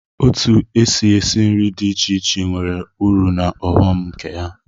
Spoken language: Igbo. Otu èsị́ esi nri dị iche iche nwere ụrụ na ọghọm nke ha.